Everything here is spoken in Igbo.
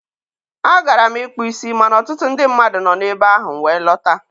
a gara m ịkpụ isi ma na ọtụtụ ndị mmadụ nọ n'ebe ahụ, m wee lọta.